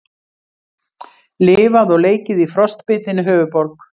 Lifað og leikið í frostbitinni höfuðborg